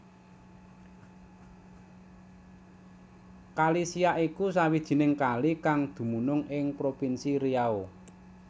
Kali Siak iku sawijining kali kang dumunung ing provinsi Riau